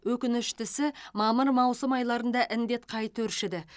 өкініштісі мамыр маусым айларында індет қайта өршіді